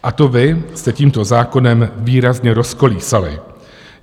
A to vy jste tímto zákonem výrazně rozkolísali.